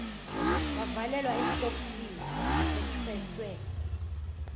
bavalelwa esitokisini bethweswe